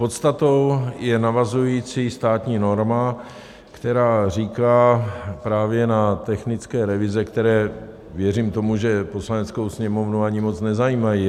Podstatou je navazující státní norma, která cílí právě na technické revize, které, věřím tomu, že Poslaneckou sněmovnu ani moc nezajímají.